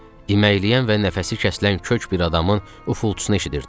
İməkləyən və nəfəsi kəsilən kök bir adamın ufulçusunu eşidirdik.